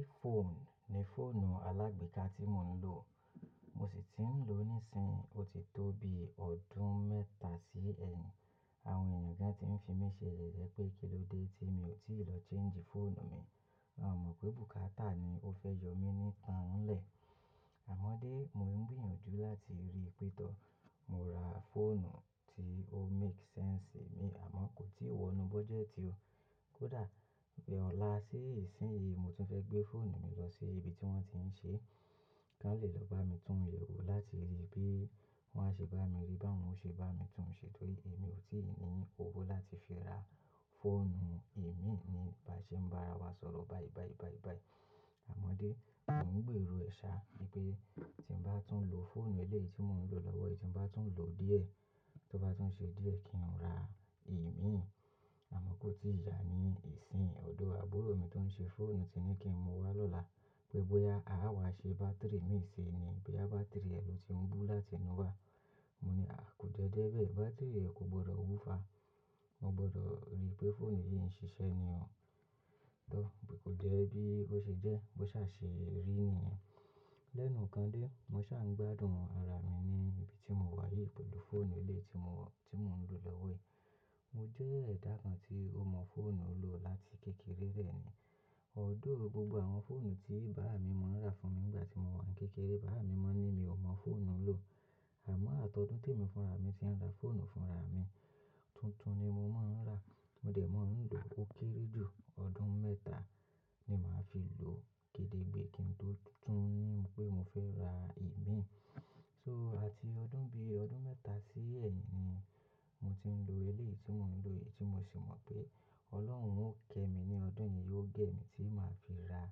iPhone ni fóònù alàgbèékà tí mò ń lò. Mo sì ti ń lò níìsín, ó ti tó bi ọdún mẹ́ta sí ẹyin. Àwọn ènìyàn gan tí ń fi mí ṣe ye ye pé, "kí ló dé tí mi ò tíì lọ change fóònù mi?" Wọn mọ̀ pé bùkátà ni ó fẹ́ yọ mí nítan lè. Àmọ́ dé, mò ń gbìyànjú láti rí pétọ̀. Mo ra fóònù tí ó make sense mi àmọ́ kò tíì wọnú budget o. Kódà pé ọ̀la sí ìsín yìí mo tún fẹ́ gbé fóònù mi lọ sí ibi tí wón ti ń ṣe, kí wọ́n lè lọ bá mi tún yẹ̀wò láti rí bí wọ́n á ṣe bá mi rí, báwo ṣe bá mi tún un ṣe torí èmi ò tí ì ní owó láti fi ra fóònù èémíì ní ìbáṣe ń bá ara wa sọ̀rọ̀, bayi bayi bayi bayi. Àmọ́ dé, mò ń gbèrò ẹ̀ṣà wípé tí ń bá tún lò fóònù eléyìí tí mò ń lò lọ́wọ́ yìí tí ń bá tún lò díẹ̀, tó bá tún ṣe díẹ̀ kí n ra èémíì. Àmọ́ kò tíì yá ní ìsín. Ọ̀dọ̀ àbúrò mi tó ń ṣe fóònù ti ní kí n mọ́ wá lọ́la pé, bóyá a á wá ṣe bátìrì mi síí ni boya bátìrì rẹ ló ti ń bú láti inú wa. Mo ní, "à, kò jẹ́ je bẹ́ẹ̀, bátìrì ẹ kò gbọdọ̀ wúfa. Mo gbọdọ̀ rí pé fóònù yìí ń ṣiṣẹ́ ni o." Tọ, bí kò jẹ́ ẹbí ó ṣe jẹ́, bó ṣà ṣe rí nìyẹn. Lẹ́nu kan dé, mo ṣà ń gbádùn ara mi ní ibi tí mo wà yìí pẹ̀lú fóònù eléyìí tí mo, tí mò ń lò lọ́wọ́ yìí. Mo jẹ́ ẹ̀dá kan tí ó mọ fóònù lò láti kékeré dẹ̀ ni. Although gbogbo àwọn fóònù tí bàa mi mó ń rà fún mi nígbà tí mo wà ní kékeré, bàbá mi mọ̀ ní mi ò mọ fóònù lò. Àmọ́ atọdún tí èmi fúnra mi ti ń ra fóònù fúnra mi. Tutun ni mo máa ń rà, mo dẹ̀ máa ń lò ó kéré jù. Ọdún mẹ́ta ni màá fi lò kédégbé kí n tó tún ni pé mo fẹ́ ra èémíì. So àti ọdún bí ọdún mẹ́ta sí ẹ́yìn ni mo ti ń lò eléyìí tí mò ń lò yìí tí mo sì mọ̀ pé Ọlọ́run ó kẹ́ mi ní ọdún yìí, ó gé mi tí màá fi ra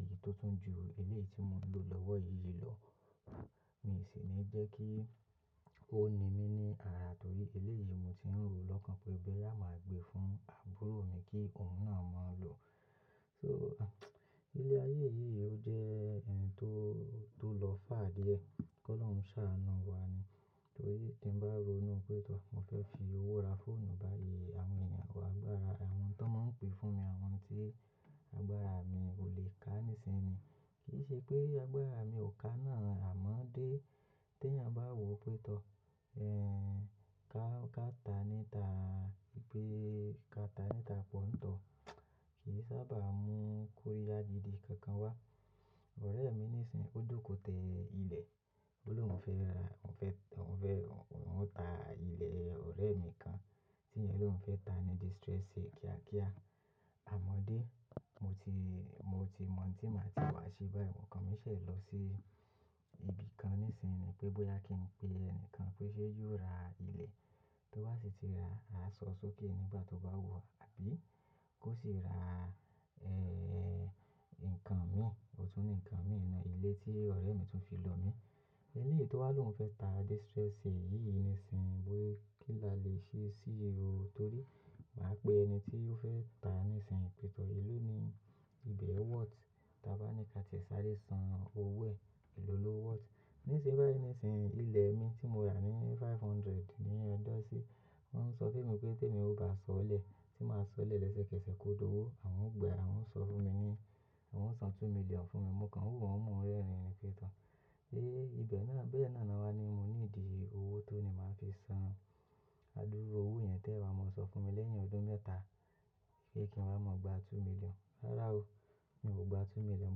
èyí tó tún ju eléyìí tí mò ń lò lọ́wọ́ yìí lọ. Mi sì ní jẹ́ kí ó ni mí ní ara torí eléyìí mo ti ń ro lọ́kàn pé boya máa gbé fún àbúrò mi kí òun náà máa lò. So, ilé ayé yìí ò jẹ to, tó lọ fá díẹ̀. Kí Ọlọ́run ṣá anú wa ni. Torí tí ń bá ronú pé tọ mo fẹ́ fi owó ra fóònù bayi, àwọn ènìyàn wa gbára àwọn tó máa ń pè fún mi àwọn tí agbára mi ò lè ká nísinsinyí. Kì í ṣe pé agbára mi ò ká náà àmọ́ dé tí ẹ̀nyàn bá wò ó pé tọ, ká kátà nítà wípé kátà nítà pọ̀ ń tọ, kì í sábà mú kóriya gìdi kan kan wá. Ọ̀rẹ́ mi nísinsinyí ó dòkòtẹ́ ilẹ̀. Olóhun fẹ́ ra, òun fẹ́, òun fẹ́, òun fẹ́, òun mó ta ilẹ̀ ọ̀rẹ́ mi kan tí ẹ̀yẹn lóun fẹ́ ta ní distress sale kíá kíá. Àmọ́ dé, mo ti, mo ti mọ̀n tí màá ti wá ṣe báyii okan mí ṣẹ̀ lọ sí ibi kan nísinsinyí pé bóyá kí n pe ẹni kan pé ṣé yóò ra ilẹ̀ tó wá sì ti ra, a so sókè nígbà tó bá wo abí kò sì ra, nǹkan mi, òòtún ni nǹkan mi iná ilé tí ọ̀rẹ́ mi tún fi lọ mí. Eléyìí tó wá lóun fẹ́ ta distress sale yìí nísinsinyí bóyí kí la lè ṣe sí i o torí màá pe ẹni tí ó fẹ́ ta nísinsinyí pétọ̀ e ló ní ibẹ̀ worth tí a bá ní ká ti ṣe sáré san owó ẹ̀, èló lo worth. Nísinsìnyí nísinsìnyí ilẹ̀ mi tí mo rà ní five hundred ní ojosi, wọ́n ń sọ fún mi pé tí èmi ò bá sọ̀ọ́ lẹ̀, tí màá sọ̀ọ́ lẹ̀ lẹ́sẹ̀kẹ́sẹ̀ kó dọ́wọ́, àwọn ó gbẹ àwọn ń sọ fún mi ní, àwọn ń san two million fún mi, mò ń kan wù wọ́n mú rẹ́rìn-ín pé to Héé, ibẹ̀ náà bẹ́ẹ̀ náà ni wá ní mo ní ìdí owó tó ni màá fi san. Adúró owó yẹn tẹ́ ẹ wa máa sọ fún mi lẹ́yìn ọdún mẹ́ta pé kí n wá máa gba two million. Rárá o, mi ò gba two million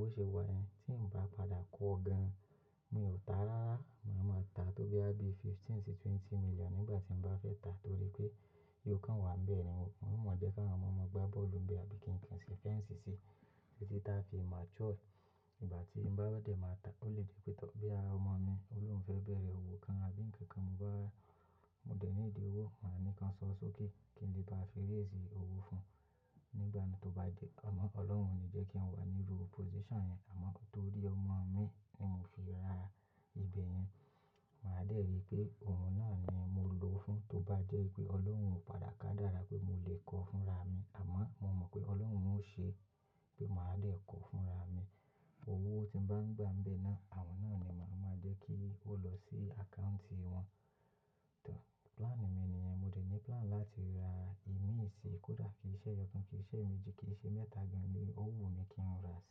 bó ṣe wà yẹ́n. Tí ń bá padà kọ gan, mi ò ta rárá. Màá máa ta tó boya bí fifteen sí twenty million nígbà tí ń bá fẹ́ ta torí pé yọ kàn wà n bẹ́ẹ̀ ní. Mo mọ̀ jẹ́ kí àwọn ọmọ ọmọ gba bọ́ọ̀lù ń be àbí kí ń kìn sí fẹ́nsì sì títí táa fi mature. Ìgbà tí ń bá dẹ̀ máa ta ó lè di pétọ̀ boya ọmọ mi olóhun fẹ́ bẹ̀rẹ̀ òwò kan àbí ǹkan kan mo bá, mo dẹ̀ ní ìdí owó, màá ní kan san sókè kí ń lè bá fi rẹ́sí owó fún un. Nígbà náà tó bá di, àmọ́ Ọlọ́run ò ní jẹ́ kí n wà ní ru position yẹn àmọ́ torí ọmọ mi ni mò fi ra ibẹ̀ yẹn. Màá dẹ̀ ri pé òun náà ni mò lò ó fún. Tó bá jẹ́ pé Ọlọ́run padà ká dára pé mò lè kọ fúnra mi àmọ́ mò mọ̀ pé Ọlọ́run ó ṣe pé màá dẹ̀ kọ fúnra mi. Owó tí ń bá ń gbà ń bẹ́ ẹ́ náà, àwọn náà ni màá máa jẹ́ kí ó lọ sí àkáùntì wọn. Tọ, plan mi nìyẹn. Mo dẹ̀ ní plan láti ra èémíì síí kódà kí i ṣe ẹyọkùn, kí i ṣe ẹ̀mẹjì, kí i ṣe mẹ́ta gan an ni. Òwú mi kí n ra sí.